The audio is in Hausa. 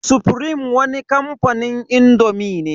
Sufrim wani kamfanin indomi ne.